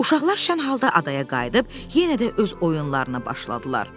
Uşaqlar şən halda adaya qayıdıb yenə də öz oyunlarına başladılar.